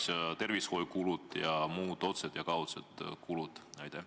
Ma pean silmas tervishoiukulusid ja muid otseseid ja kaudseid kulusid.